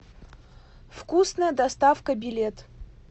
вкусная доставка билет